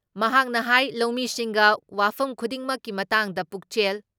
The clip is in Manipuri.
ꯃꯍꯥꯥꯛꯅ ꯍꯥꯏ ꯂꯧꯃꯤꯁꯤꯡꯒ ꯋꯥꯐꯝ ꯈꯨꯗꯤꯡꯃꯛꯀꯤ ꯃꯇꯥꯡꯗ ꯄꯨꯛꯆꯦꯜ